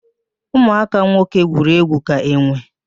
Ụmụaka nwoke gwuru egwu ka enwe